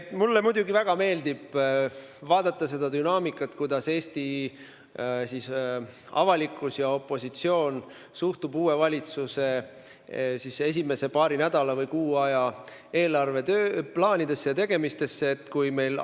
Mulle muidugi väga meeldib vaadata seda dünaamikat, mis iseloomustab Eesti avalikkuse ja opositsiooni suhtumist uue valitsuse esimese paari nädala või kuu aja eelarveplaanidesse ja muudesse tegemistesse.